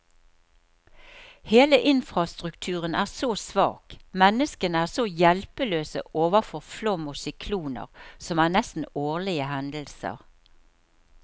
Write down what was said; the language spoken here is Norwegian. Hele infrastrukturen er så svak, menneskene er så hjelpeløse overfor flom og sykloner, som er nesten årlige hendelser.